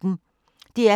DR P1